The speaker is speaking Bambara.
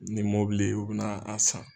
Ni mobili ye u bɛ na a san.